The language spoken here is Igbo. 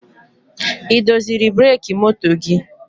Ị doziri breki moto gị?